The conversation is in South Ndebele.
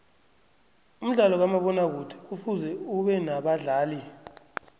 umdlalo kamabona kude kufuze ubenabadlali